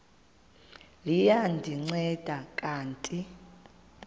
liya ndinceda kanti